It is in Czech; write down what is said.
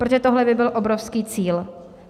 Protože tohle by byl obrovský cíl.